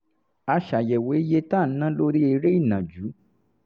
a ṣàyẹ̀wò iye tá à ń ná lórí eré ìnàjú